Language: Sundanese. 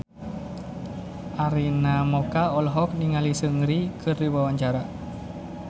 Arina Mocca olohok ningali Seungri keur diwawancara